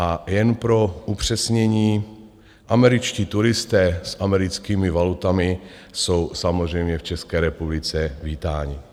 A jen pro upřesnění - američtí turisté s americkými valutami jsou samozřejmě v České republice vítáni.